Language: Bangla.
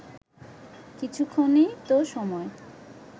কিছুক্ষণই তো সময়